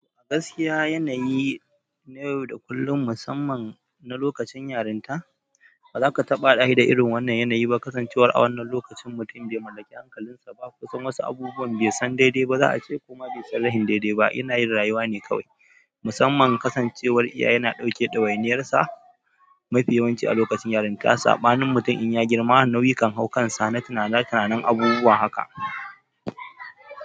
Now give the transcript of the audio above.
A gaskiya, yanayi na yau da kullun, musamman na lokacin yarinta, ba za ka taɓa haɗashi da irin wannan yanayi ba. Kasancewar a wannan lokacin mutum bai mallaki hankalinsa ba, kusan wasu abubuwan bai san daidai ba, za a ce kuma bai san rahin daidai ba. Ina yin rayuwa ne kawai. Musamman kasancewar iya yana ɗauke dawainiyarsa mafi yawanci a lokacin yarinta. Ya saɓanin mutum in ya girma nau'ikan haukansa na tunana, tunanin abubuwa haka.